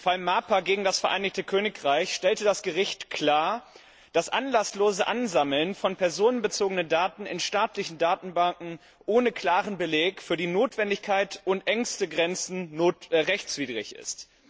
Im Fall Marper gegen das Vereinigte Königreich stellte das Gericht klar, dass das anlasslose Ansammeln von personenbezogenen Daten in staatlichen Datenbanken ohne klaren Beleg für die Notwendigkeit und ohne engste Grenzen rechtswidrig ist.